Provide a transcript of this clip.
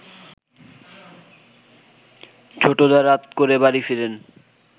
ছোটদা রাত করে বাড়ি ফেরেন